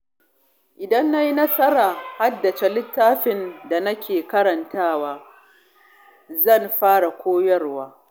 Idan na yi nasarar haddace litattafan da nake karantawa, zan fara koyarwa.